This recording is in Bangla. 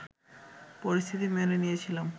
পরিস্থিতি মেনে নিয়েছিলাম